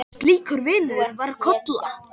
Slíkur vinur var Kolla.